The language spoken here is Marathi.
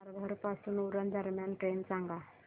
तारघर पासून उरण दरम्यान ट्रेन सांगा